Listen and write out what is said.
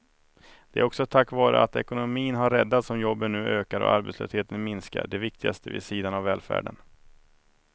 Det är också tack vare att ekonomin har räddats som jobben nu ökar och arbetslösheten minskar, det viktigaste vid sidan av välfärden.